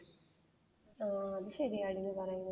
ഓ അത് ശരിയാണ് നീ പറയുന്നത്.